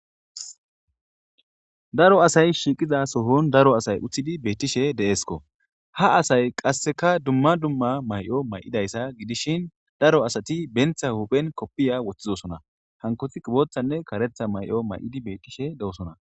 Daro asay shiqida sohon daro asay utidi betishe de'esko ha asay qaseka duma duma may'o ma'idayisa gidishin daro asati benta huphen kopiya wotidosona hankoti botanne karetha may'o may'idi betishe dosona.